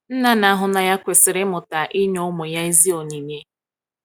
nna n'ahu n'anya kwesiri imụta inye ụmụ ya ezi onyinye